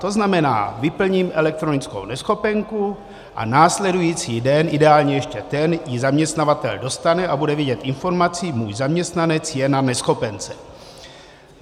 To znamená, vyplním elektronickou neschopenku a následující den, ideálně ještě ten, ji zaměstnavatel dostane a bude vědět informaci: můj zaměstnanec je na neschopence.